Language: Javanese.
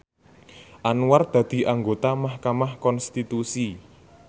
Anwar dadi anggota mahkamah konstitusi